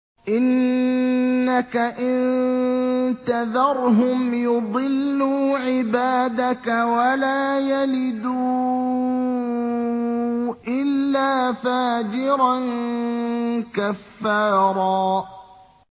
إِنَّكَ إِن تَذَرْهُمْ يُضِلُّوا عِبَادَكَ وَلَا يَلِدُوا إِلَّا فَاجِرًا كَفَّارًا